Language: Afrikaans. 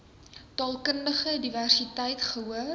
taalkundige diversiteit gehoor